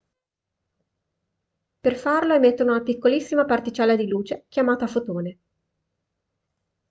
per farlo emettono una piccolissima particella di luce chiamata fotone